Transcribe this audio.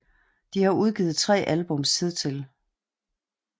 De har udgivet 3 albums hidtil